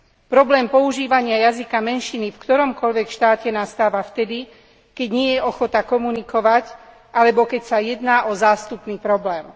Problém používania jazyka menšiny v ktoromkoľvek štáte nastáva vtedy, keď nie je ochota komunikovať alebo keď ide o zástupný problém.